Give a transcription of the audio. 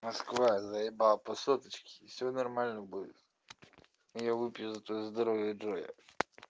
москва заебал по соточке всё нормально будет я выпью за твоё здоровье джоя